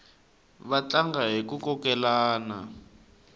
va tlanga hiku kokelana